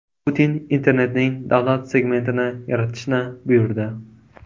Putin internetning davlat segmentini yaratishni buyurdi.